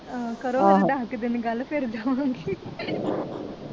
ਆਹੋ ਕਰੋ ਫਿਰ ਦਸ ਕ ਦਿਨ ਗੱਲ ਫਿਰ ਜਾਵਾਗੇ